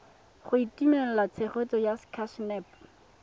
go itumelela tshegetso ya sacnasp